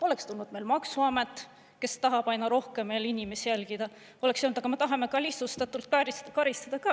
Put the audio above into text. " Oleks tulnud meil maksuamet, kes tahab aina rohkem inimesi jälgida, oleks öelnud: "Aga me tahame ka lihtsustatult karistada.